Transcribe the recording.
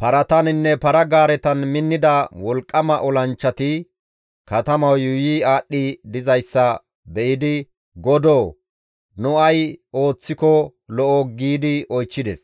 parataninne para-gaaretan minnida wolqqama olanchchati katamayo yuuyi aadhdhi dizayssa be7idi, «Godoo! Nu ay ooththiko lo7o?» giidi oychchides.